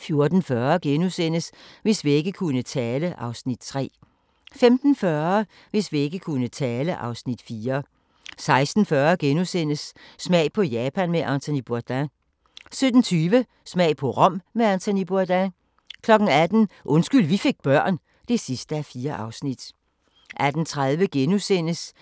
14:40: Hvis vægge kunne tale (Afs. 3)* 15:40: Hvis vægge kunne tale (Afs. 4) 16:40: Smag på Japan med Anthony Bourdain * 17:20: Smag på Rom med Anthony Bourdain 18:00: Undskyld vi fik børn (4:4)